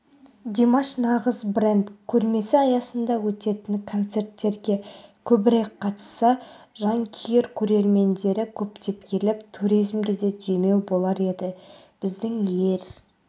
димаш нағыз бренд көрмесі аясында өтетін концерттерге көбірек қатысса жанкүйер көрермендері көптеп келіп туризмге де демеу болар еді біздің ер